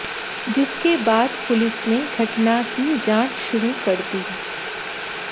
जिसके बाद पुलिस ने घटना की जांच शुरू कर दी